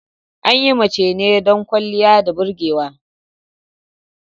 An yi mace ne don ƙwaliya da burgewa.